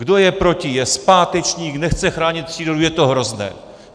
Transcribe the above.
Kdo je proti, je zpátečník, nechce chránit přírodu, je to hrozné.